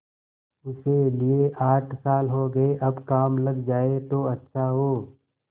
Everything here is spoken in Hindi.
उसे लिये आठ साल हो गये अब काम लग जाए तो अच्छा हो